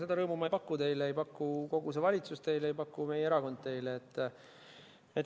Seda rõõmu ma ei paku teile, ei paku kogu see valitsus teile, ei paku meie erakond teile.